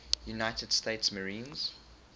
united states marines